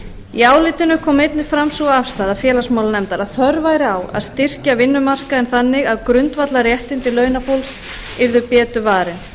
í álitinu kom einnig fram sú afstaða félagsmálanefndar að þörf væri á að styrkja vinnumarkaðinn þannig að grundvallarréttindi launafólks yrðu betur varin